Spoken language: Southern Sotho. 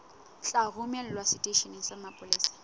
tla romelwa seteisheneng sa mapolesa